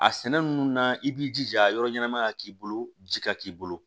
A sɛnɛ ninnu na i b'i jija a yɔrɔ ɲɛnama ka k'i bolo ji ka k'i bolo